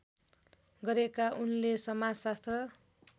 गरेका उनले समाजशास्त्र